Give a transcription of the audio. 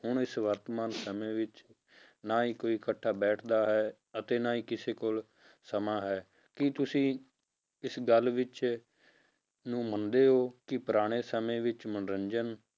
ਹੁਣ ਇਸ ਵਰਤਮਾਨ ਸਮੇਂ ਵਿੱਚ ਨਾ ਹੀ ਕੋਈ ਇਕੱਠਾ ਬੈਠਦਾ ਹੈ, ਅਤੇ ਨਾ ਹੀ ਕਿਸੇ ਕੋਲ ਸਮਾਂ ਹੈ, ਕੀ ਤੁਸੀਂ ਇਸ ਗੱਲ ਵਿੱਚ, ਨੂੰ ਮੰਨਦੇ ਹੋ ਕਿ ਪੁਰਾਣੇ ਸਮੇਂ ਵਿੱਚ ਮਨੋਰੰਜਨ